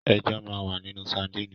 Ẹja máa ń wà nínú sadínì.